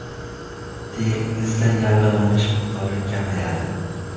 Teringizda yallig‘lanish miqdori kamayadi.